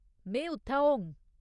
में उत्थै होङ।